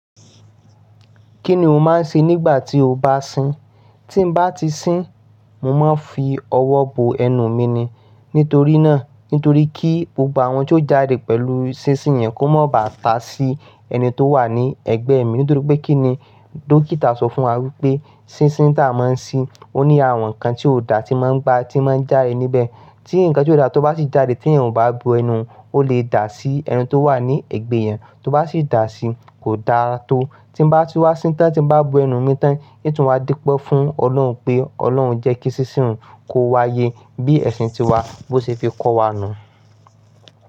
Kí ni o máa ń ṣe nígbà tí o bá sín? Tin bá ti sín, mo máa ń fi ọwọ́ bo ẹnu mi ni. Nítorí náà, nítorí kí gbogbo àwọn n ti o jáde pẹ̀lú sísìn yẹn kó má bàá ta sí ẹni tó wà ní ẹ̀gbẹ́ mi. Nítorí pé kí ni dókítà sọ fún wa wípé sísìn tá a máa ń sí, ó ní àwọn nǹkan tí ò dáa tí máa ń gba, tí máa ń jáde níbẹ̀. Tí nǹkan tí ò dáa tó bá sì jáde tí ẹ̀yin ò bá bo ẹnu, ó lè dà sí ẹni tó wà ní ẹ̀gbẹ́ yẹn. Tó bá sì dà sí, kò dara tó. Tín bá tun wá sín tán, tín bá bo ẹnu mi tán, n tún wá dúpẹ́ fún Ọlọ́run pé Ọlọ́run jẹ́ kí sísìn un kó wáyé bí ẹ̀sìn ti wa bó ṣe ti kọ́ wa nù.